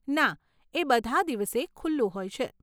ના, એ બધાં દિવસે ખુલ્લું હોય છે.